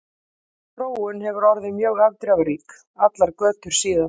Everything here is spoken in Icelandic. Sú þróun hefur orðið mjög afdrifarík allar götur síðan.